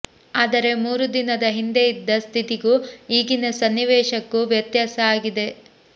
ಆದರೆ ಮೂರು ದಿನದ ಹಿಂದೆ ಇದ್ದ ಸ್ಥಿತಿಗೂ ಈಗಿನ ಸನ್ನಿವೇಶಕ್ಕೂ ವ್ಯತ್ಯಾಸ ಆಗಿದೆ